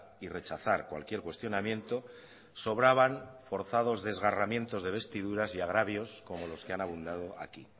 y rechazar cualquier cuestionamiento sobraban forzados desgarramientos de vestiduras y agravios como los que han abundado aquí